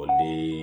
O de ye